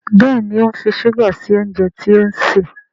Béèni o ń fí ṣuga sí oúnjẹ tí òun ṣe.